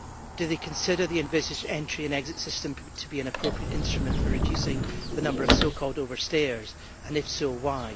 Do they consider the envisaged entry and exit system to be an appropriate instrument for reducing the number of so called overstayers and, if so, why?